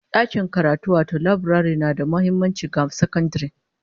Dakin karatu wato laburare na da muhimmanci ga sakandare